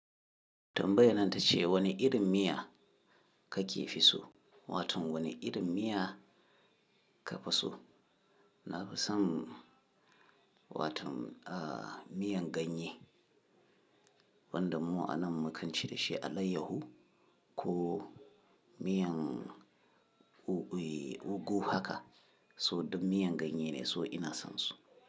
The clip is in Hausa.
Tambayar nan tace wani irin miya kake fi so? Wato wani irin miya ka fi so? Na fi son, watan ah miyan ganye wanda mu a nan mukan ce da shi alayyahu ko miyan u-ui ugo haka. So idan miyan ganye ne, so ina son su.